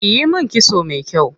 Kiyi min kitso me kyau.